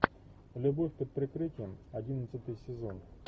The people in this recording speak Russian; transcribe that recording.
любовь под прикрытием одиннадцатый сезон